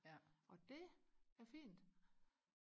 og det er fint